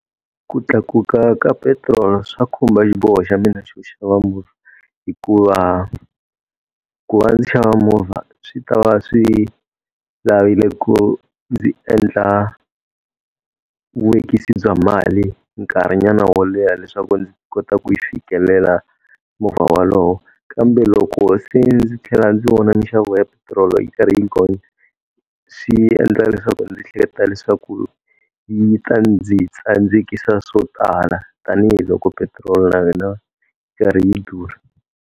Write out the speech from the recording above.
Ku tlakuka ka petirolo swa khumba xiboho xa mina xo xava movha hikuva, ku va ndzi xava movha swi ta va swi lavile ku ndzi endla vuvekisi bya mali nkarhinyana wo leha leswaku ndzi kota ku yi fikelela movha walowo. Kambe loko se ndzi tlhela ndzi vona minxavo ya petirolo yi karhi yi gonya, swi endla leswaku ndzi ehleketa leswaku yi ta ndzi tsandzekisa swo tala tanihiloko petiroli na yona yi karhi yi durha.